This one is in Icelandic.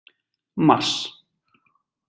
mars